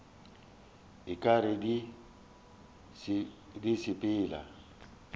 o ka re di sepela